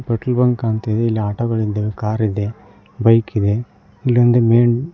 petrol bunk ಕಾಣ್ತಾ ಇದೆ ಇಲ್ಲಿ ಆಟೋ ಗಳ ನಿಂತಿವೆ ಕಾರ್ ಇದೆ ಬೈಕ್ ಇದೆ ಇಲ್ಲಿ ಒಂದು ಮೇನ್ --